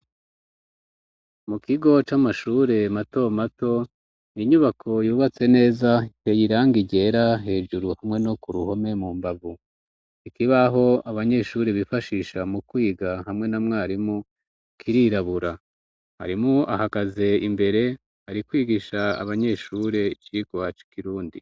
mu kigo c'amashure mato mato inyubako yubatse neza iteye irangi ryera hejuru hamwe no ku ruhome mu mbavu ikibaho abanyeshuri bifashisha mu kwiga hamwe na mwarimu kirirabura mwarimu ahagaze imbere ari kwigisha abanyeshure icigwa ci kirundi.